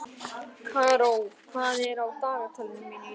Karó, hvað er á dagatalinu mínu í dag?